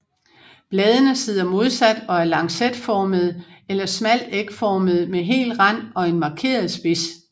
Bladene sidder modsat og er lancetformede eller smalt ægformede med hel rand og en markeret spids